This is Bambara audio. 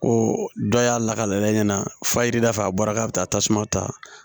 Ko dɔ y'a lakale fa jirida fɛ a bɔra k'a bɛ taa tasuma ta